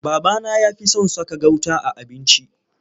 Babana ya fi son saka gauta a abinci.